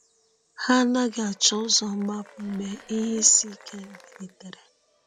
Ha anaghị achọ ụzọ mgbapụ mgbe ihe isi ike bilitere.